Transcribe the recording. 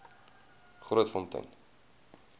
grootfontein